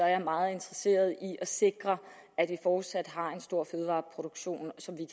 jeg meget interesseret i at sikre at vi fortsat har en stor fødevareproduktion som vi